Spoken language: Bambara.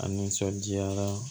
A nisɔndiyara